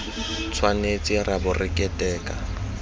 tshwanetse ra bo re keteka